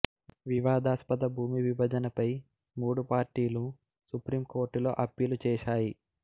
వివాదాస్పద భూమి విభజనపై మూడు పార్టీలు సుప్రీం కోర్టులో అప్పీలు చేశాయి